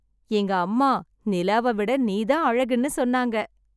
எங்க அம்மா நிலாவை விட நீதான் அழகுன்னு சொன்னாங்க.